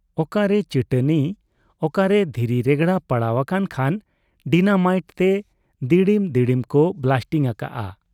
ᱚᱠᱟᱨᱮ ᱪᱟᱹᱴᱟᱹᱱᱤ, ᱚᱠᱟᱨᱮ ᱫᱷᱤᱨᱤ ᱨᱮᱜᱽᱲᱟ ᱯᱟᱲᱟᱣ ᱟᱠᱟᱱ ᱠᱷᱟᱱ ᱰᱤᱱᱟᱢᱟᱭᱤᱴ ᱛᱮ ᱫᱤᱲᱤᱢ ᱫᱤᱲᱤᱢ ᱠᱚ ᱵᱞᱟᱥᱴᱤᱝ ᱟᱠᱟᱜ ᱟ᱾